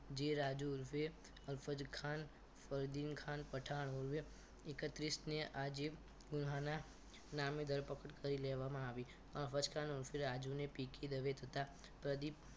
જે રાજુ ઉર્ફે અલફજ ખાન ફરદીન ખાન પઠાણ ઉર્ફે એકત્રીશ ને આજે પુણાના નામે ધરપકડ કરી દેવામાં આવી અલફજ ખાન ઉર્ફે રાજુને પિકે દવે તથા પ્રદીપ